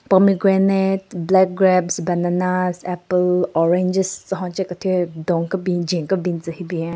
Promigrante black grapes bananas apple oranges tsü hon che kethyu don kebin jwen kebin tsü hyu bin.